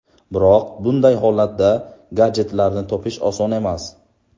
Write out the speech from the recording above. Biroq bunday holatda gadjetlarni topish oson emas.